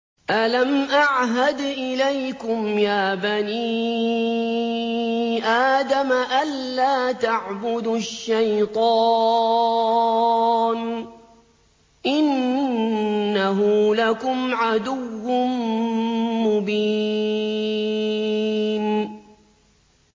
۞ أَلَمْ أَعْهَدْ إِلَيْكُمْ يَا بَنِي آدَمَ أَن لَّا تَعْبُدُوا الشَّيْطَانَ ۖ إِنَّهُ لَكُمْ عَدُوٌّ مُّبِينٌ